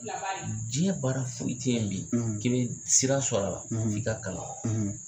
Jiɲɛ baara foyi tɛ yen bi k'i bɛ sira sɔrɔ a la f'i ka kalan.